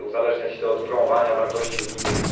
Chce uzależniać to od promowania wartości unijnych.